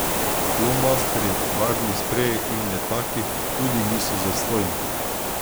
Flomastri, barvni spreji in letaki tudi niso zastonj.